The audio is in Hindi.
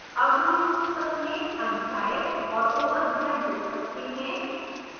add हम इस पुस्तक में अध्याय और उपअध्याय जोड़ सकते हैं